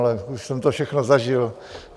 Ale už jsem to všechno zažil.